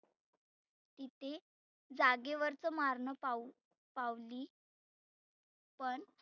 किती जागेवरच मारणंं पाहुन पावली पण